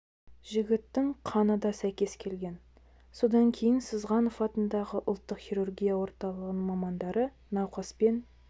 жігіттің қаны да сәйкес келген содан кейін сызғанов атындағы ұлттық хирургия орталығының мамандары науқас пен